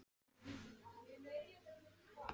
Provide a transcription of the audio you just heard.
Já, hann var hérna inni, höfðinginn sjálfur!